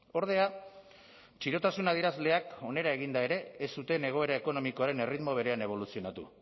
ordea txirotasun adierazleak onera eginda ere ez zuten egoera ekonomikoaren erritmo berean eboluzionatu